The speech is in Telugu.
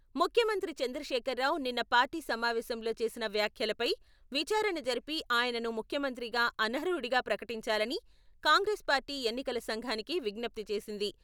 ముఖ్యమంత్రి చంద్రశేఖర్ రావు నిన్న పార్టీ సమావేశంలో చేసిన వ్యాఖ్యలపై విచారణ జరిపి ఆయనను ముఖ్యమంత్రిగా అనర్హుడిగా ప్రకటించాలని కాంగ్రెస్ పార్టీ ఎన్నికల సంఘానికి విజ్ఞప్తి చేసింది.